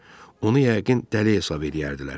Onu yəqin dəli hesab eləyərdilər.